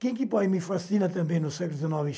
Quem que me fascina também no século dezenove?